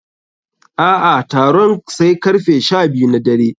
A'a, taron sai karfe sha biyu na dare.